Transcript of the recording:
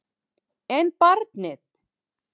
En barnið?